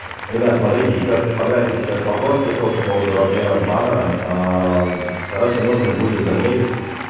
ребят смотрите ещё от типографии сейчас вопрос пришёл по поводу размеров баннера короче нужно будет замерить